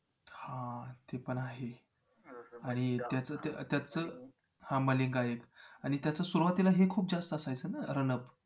हां तेपण आहे आणि त्याचं हां मलिंगा एक त्याचं सुरवातीला हे खूप जास्त असायचं ना run up